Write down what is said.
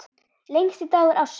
Lengsti dagur ársins.